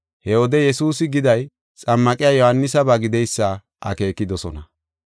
He wode Yesuusi giday Xammaqiya Yohaanisaba gideysa akeekidosona.